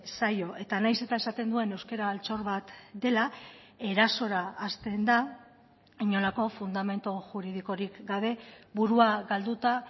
zaio eta nahiz eta esaten duen euskara altxor bat dela erasora hasten da inolako fundamentu juridikorik gabe burua galduta